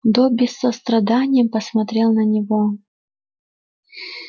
добби с состраданием посмотрел на него